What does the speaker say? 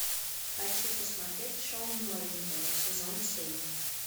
хочу посмотреть шоу новенькая сезон семь